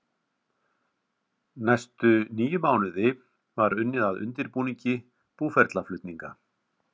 Næstu níu mánuði var unnið að undirbúningi búferlaflutninga.